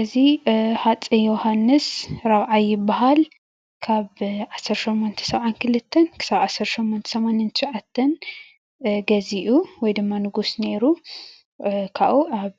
እዚ ብሃፀይ የውሃንስ ራብዓይ ባሃል ካብ ዓሰርተ ሾሞንተ ሰብዓን ክልተን (1872) ክሳብ ዓሰርተ ሾሞንተ ሰማንያን ትሻዓተን (1889) ገዚኡ ወይ ድማ ንጉስ ነይሩ ካብኡ ኣብ